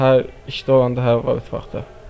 Hə, işdə olanda hə var idi vaxtı.